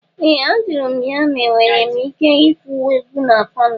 Ee! Ajụrụ m ya ma enwere m ike igwu egwu na palọ.